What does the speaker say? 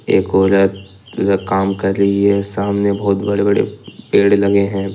एक औरत काम कर रही है सामने बहोत बड़े बड़े पेड़ लगे हैं।